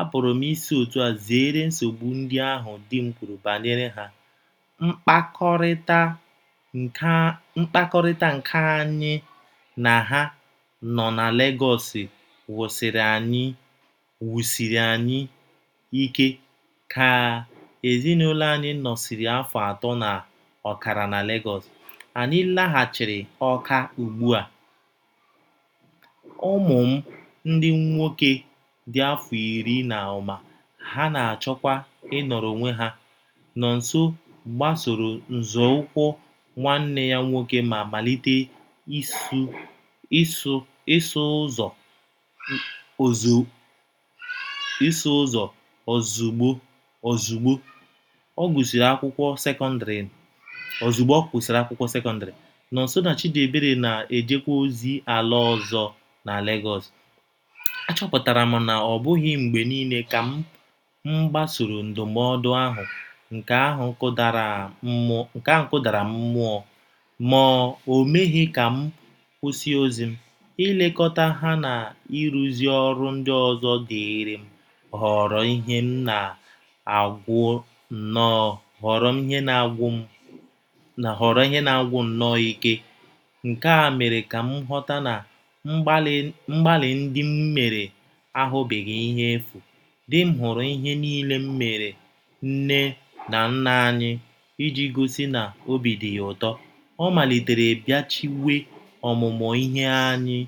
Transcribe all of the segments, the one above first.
Apụrụ m isi otú a zeere nsogbu ndị ahụ di m kwuru banyere ha Mkpakọrịta nke anyị na Ha nọ na Lagos wusiri anyị ike Ka ezinụlọ anyị nọsịrị afọ atọ na ọkara na Lagos, anyị laghachiri Awka Ugbu a, ụmụ m ndị nwoke dị afọ iri na ụma, ha na - achọkwa ịnọrọ onwe ha Nọnso gbasoro nzọụkwụ nwanne ya nwoke ma malite ịsụ ụzọ ozugbo ọ gụsịrị akwụkwọ sekọndrị Nọnso na Chidiebere na - ejekwa ozi ala ọzọ na Lagos A chọpụtara m na ọ bụghị mgbe niile ka m gbasoro ndụmọdụ ahụ Nke ahụ kụdara m mmụọ, ma o meghị ka m kwụsị ozi m. Ilekọta ha na ịrụzu ọrụ ndị ọzọ dịịrị m ghọrọ ihe na - agwụ nnọọ ike Nke a mere ka m ghọta na mgbalị ndị m mere aghọbeghị ihe efu Di m hụrụ ihe niile m meere nne na nna anyị Iji gosi na obi dị ya ụtọ, ọ malitere bịachiwe ọmụmụ ihe anya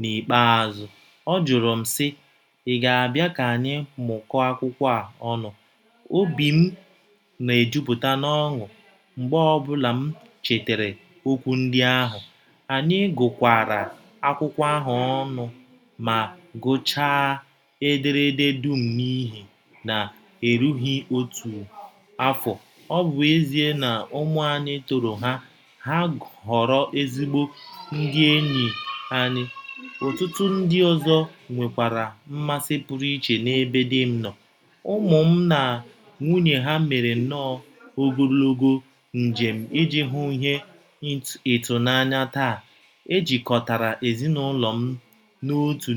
N’ikpeazụ, ọ jụrụ m, sị: “ Ị̀ ga - abịa ka anyị mụkọọ akwụkwọ a ọnụ? Obi m na - ejupụta n’ọṅụ mgbe ọ ọbụla m chetara okwu ndị ahụ. Anyị gụkọkwara akwụkwọ ahụ ọnụ ma gụchaa ederede dum n’ihe na - erughi otu afọ Ọ bụ ezie na ụmụ anyị tọrọ ha, ha ghọrọ ezigbo ndị enyi anyị Ọtụtụ ndị ọzọ nwekwara mmasị pụrụ iche n’ebe di m nọ. Ụmụ m na nwunye ha mere nnọọ ogologo njem iji hụ ihe ịtụnanya Taa, e jikọtara ezinụlọ m n’otu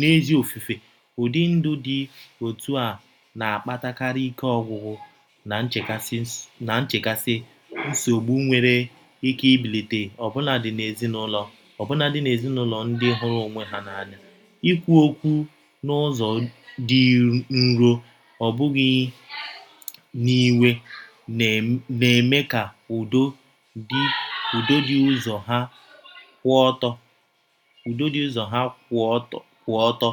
n’ezi ofufe Ụdị ndụ dị otú a na - akpatakarị ike ọgwụgwụ na nchekasị Nsogbu nwere ike ibilite ọbụnadị n’ezinụlọ ndị hụrụ onwe ha n’anya Ikwu okwu n’ụzọ dị nro, ọ bụghị n’iwe, na - eme ka udo dị ‘ Ụzọ ha kwụ ọtọ, ’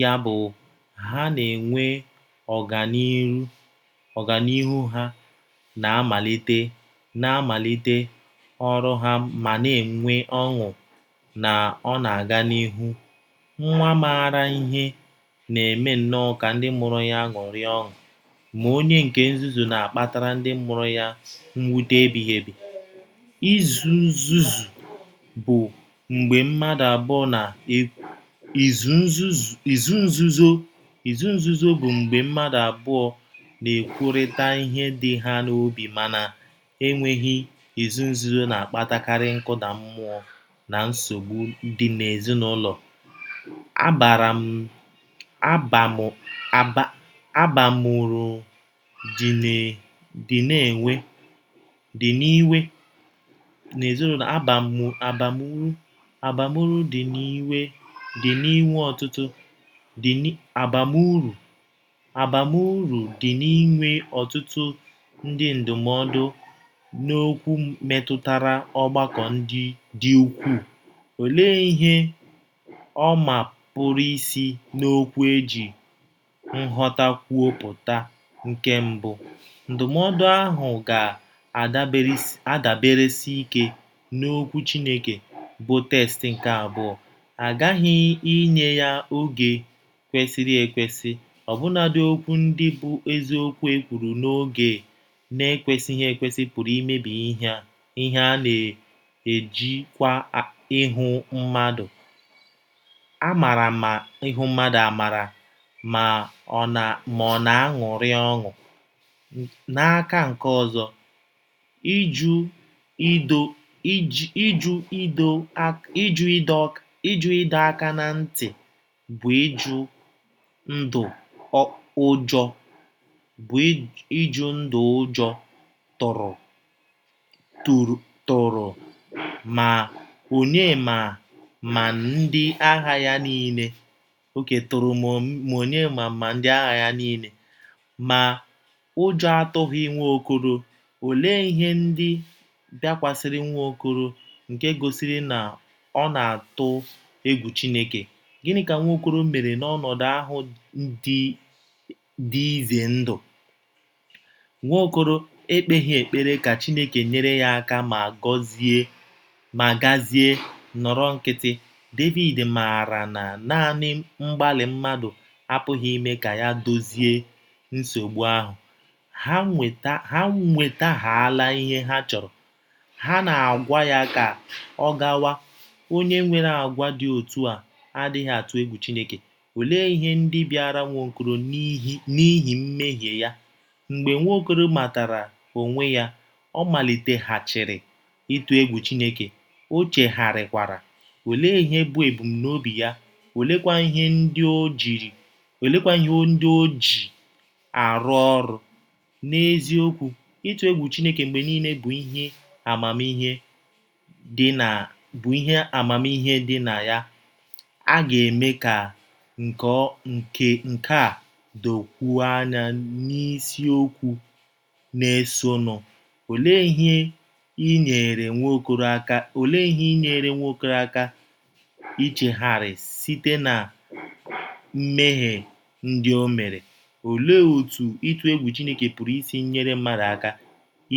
ya bụ, ha na - enwe ọganihu Ha na - amalite ọrụ ha ma na - enwe ọṅụ na ọ na - aga n’ihu Nwa maara ihe na - eme nnọọ ka ndị mụrụ ya ṅụrịa ọṅụ Ma onye nke nzuzu na - akpatara ndị mụrụ ya mwute ebighi ebi. Izu nzuzo bụ mgbe mmadụ abụọ na - ekwurịta ihe dị ha n’obi Mana, e nweghi izu nzuzo na - akpatakarị nkụda mmụọ na nsogbu n’ezinụlọ Abamuru dị n’inwe ọtụtụ ndị ndụmọdụ n’okwu metụtara ọgbakọ dị ukwuu Olee ihe ọma pụrụ isi n’okwu e ji nghọta kwuo pụta Nke mbụ, ndụmọdụ ahụ ga - adaberesi ike n’Okwu Chineke, bụ́ text Nke abụọ, a ghaghị inye ya n’oge kwesịrị ekwesị Ọbụnadị okwu ndị bụ́ eziokwu e kwuru n’oge na - ekwesịghị ekwesị pụrụ imebi ihe A na - ejikwa ihu mmadụ amara ma ọ̀ na - aṅụrị ọṅụ. N’aka nke ọzọ, ịjụ ịdọ aka ná ntị bụ ịjụ ndụ Ụjọ tụrụ ma Onyema ma ndị agha ya niile, ma ụjọ atụghị Nwaokolo Olee ihe ndị bịakwasịrị Nwaokolo nke gosiri na ọ na - atụ egwu Chineke? Gịnị ka Nwaokolo mere n’ọnọdụ ahụ dị ize ndụ? Nwaokolo ekpeghi ekpere ka Chineke nyere ya aka ma gazie nọrọ nkịtị Devid maara na nanị mgbalị mmadụ apụghị ime ka ya dozie nsogbu ahụ. Ha nwetahaala ihe ha chọrọ, ha na - agwa ya ka ọ gawa Onye nwere àgwà dị otú a adịghị atụ egwu Chineke Olee ihe ndị bịara Nwaokolo n’ihi mmehie ya? Mgbe Nwaokolo matara onwe ya, ọ maliteghachiri ịtụ egwu Chineke, o chegharịkwara. Olee ihe bụ ebumnobi ya, oleekwa ihe ndị o ji arụ ọrụ? N’eziokwu, ịtụ egwu Chineke mgbe niile bụ ihe amamihe dị na ya A ga - eme ka nke a dokwuo anya n’isiokwu na - esonụ Olee ihe nyeere Nwaokolo aka ichegharị site ná mmehie ndị o mere? Olee otú ịtụ egwu Chineke pụrụ isi nyere mmadụ aka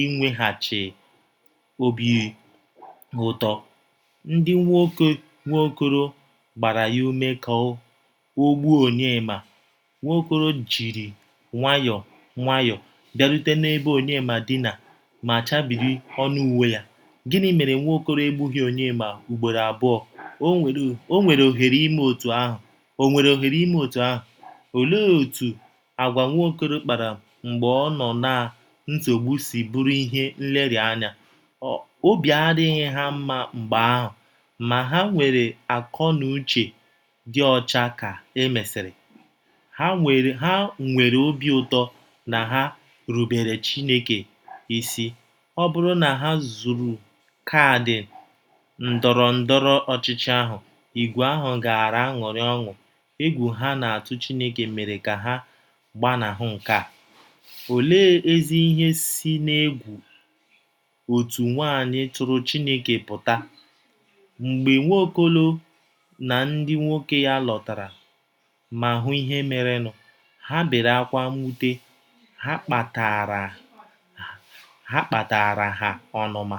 inweghachi obi ụtọ? Ndị nwoke Nwaokolo gbara ya ume ka o gbuo Onyema Nwaokolo jiri nwayọọ nwayọọ bịarute n’ebe Onyema dina ma chabiri ọnụ uwe ya. Gịnị mere Nwaokolo egbughi Onyema ugboro abụọ o nwere ohere ime otú ahụ? Olee otú àgwà Nwaokolo kpara mgbe ọ nọ ná nsogbu si bụrụ ihe nlereanya? Obi adịghị ha mma mgbe ahụ, ma ha nwere akọnuche dị ọcha Ka e mesịrị, ha nwere obi ụtọ na ha rubeere Chineke isi Ọ bụrụ na ha zụrụ kaadị ndọrọ ndọrọ ọchịchị ahụ, ìgwè ahụ gaara aṅụrị ọṅụ Egwu ha na - atụ Chineke mere ka ha gbanahụ nke a. Olee ezi ihe si n’egwu otu nwaanyị tụrụ Chineke pụta? Mgbe Nwaokolo na ndị nwoke ya lọtara ma hụ ihe merenụ, ha bere ákwá Mwute ha kpataara ha ọnụma,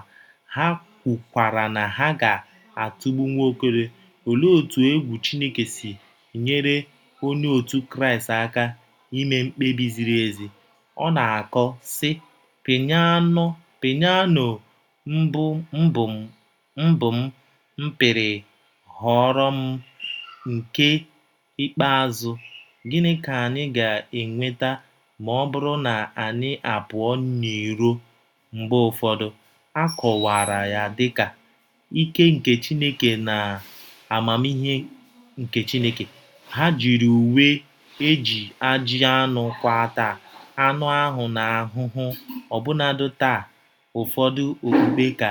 ha kwukwara na ha ga - atụgbu Nwaokolo Olee otú egwu Chineke si nyere Onye otu Kraịst aka ime mkpebi ziri ezi? Ọ na - akọ, sị: “ Pịyano mbụ m pịrị ghọọrọ m nke ikpeazụ Gịnị ka anyị ga - enweta ma ọ bụrụ na anyị a pụọ n'iro mgbe ụfọdụ A kọwara ya dị ka “ ike nke Chineke na amamihe nke Chineke. Ha jiri uwe e ji ajị anụ kwaa taa anụ ahụ́ ha ahụhụ Ọbụnadị taa ụfọdụ okpukpe ka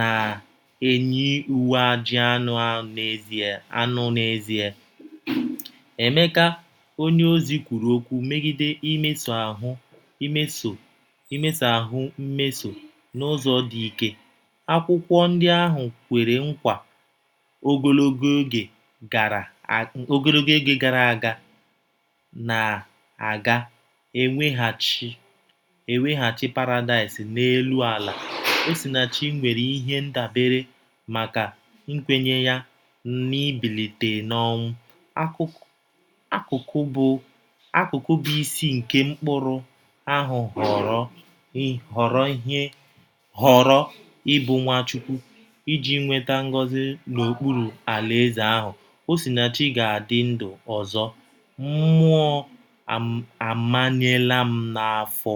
na - eyi uwe ajị anụ N’ezie, Emeka onyeozi kwuru okwu megide “ imeso ahụ́ mmeso n’ụzọ dị ike. ” Akwụkwọ ndị ahụ kwere nkwa ogologo oge gara aga na a ga - eweghachi Paradaịs n’elu ala Osinachi nwere ihe ndabere maka nkwenye ya n'ịbilite n'ọnwụ. Akụkụ bụ́ isi nke “mkpụrụ” ahụ ghọrọ ị bụ Nwachukwu. Iji nweta ngọzi n'okpuru Alaeze ahụ, Osinachi ga-adị ndụ ọzọ. Mmụọ amanyela m n'afọ."